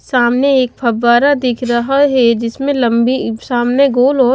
सामने एक फव्वारा दिख रहा है जिसमें लंबी सामने गोल ओर--